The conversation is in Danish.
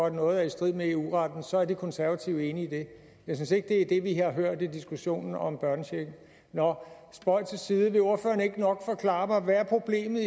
at noget er i strid med eu retten så er de konservative enige i det jeg synes ikke det er det vi har hørt i diskussionen om børnechecken nå spøg til side vil ordføreren ikke nok forklare mig hvad problemet